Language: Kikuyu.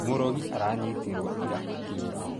Mũrogi aranyitirwo ira akĩũra